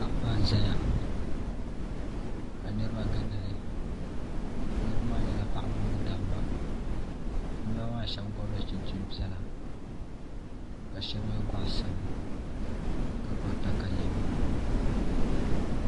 kaɣaba n zeya ka niribi gindili niribi maa nyala paɣa mini dab ba niriba maa shɛbi yɛla chinchini piɛla ka shɛbi ye chinchini sabila ka gbubi takalema